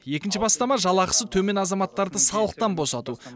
екінші бастама жалақысы төмен азаматтарды салықтан босату